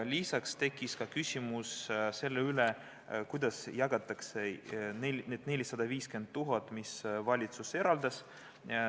Lisaks tekkis küsimus, kuidas jagatakse need 450 000 eurot, mis valitsus eraldas.